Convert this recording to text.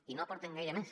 i no hi aporten gaire més